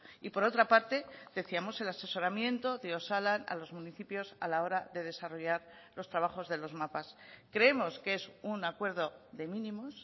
y por otra parte decíamos el asesoramiento de osalan a los municipios a la hora de desarrollar los trabajos de los mapas creemos que es un acuerdo de mínimos